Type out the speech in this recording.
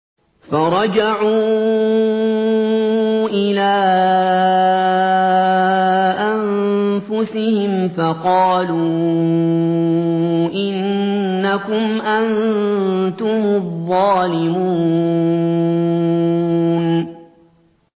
فَرَجَعُوا إِلَىٰ أَنفُسِهِمْ فَقَالُوا إِنَّكُمْ أَنتُمُ الظَّالِمُونَ